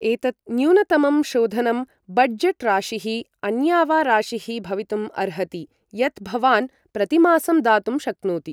एतत् न्यूनतमं शोधनं, बड्जट् राशिः, अन्या वा राशिः भवितुम् अर्हति, यत् भवान् प्रतिमासं दातुं शक्नोति।